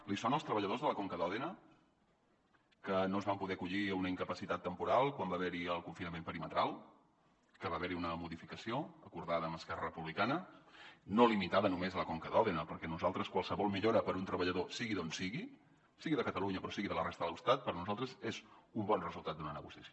li sonen els treballadors de la conca d’òdena que no es van poder acollir a una incapacitat temporal quan va haver hi el confinament perimetral que va haver hi una modificació acordada amb esquerra republicana no limitada només a la conca d’òdena perquè qualsevol millora per a un treballador sigui d’on sigui sigui de catalunya però sigui de la resta de l’estat per nosaltres és un bon resultat d’una negociació